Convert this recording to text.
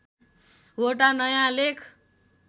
वटा नयाँ लेख